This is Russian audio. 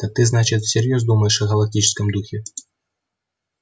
так ты значит всерьёз думаешь о галактическом духе